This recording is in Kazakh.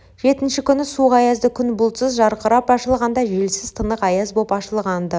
жетінші күні суық аязды күн бұлтсыз жарқырап ашылғанда желсіз тынық аяз боп ашылған-ды